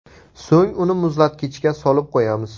So‘ng uni muzlatkichga solib qo‘yamiz.